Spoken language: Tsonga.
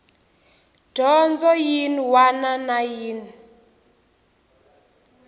dyondzo yin wana na yin